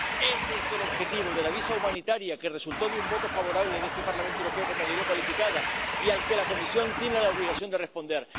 Ese es el objetivo del visado humanitario que resultó de un voto favorable en este Parlamento Europeo con mayoría cualificada y al que la Comisión tiene la obligación de responder.